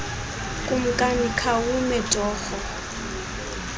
kumkani khawume torho